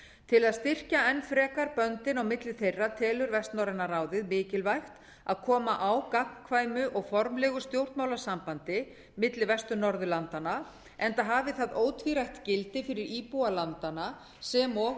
til að styrkja enn frekar böndin á milli þeirra telur vestnorræna ráðið mikilvægt að koma á gagnkvæmu og formlegu stjórnmálasambandi milli vestur norðurlandanna enda hafi það ótvírætt gildi fyrir íbúa landanna sem og